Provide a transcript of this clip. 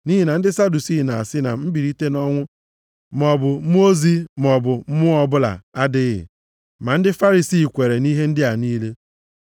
Nʼihi na ndị Sadusii na-asị na mbilite nʼọnwụ maọbụ mmụọ ozi maọbụ mmụọ ọbụla adịghị. Ma ndị Farisii kweere nʼihe ndị a niile.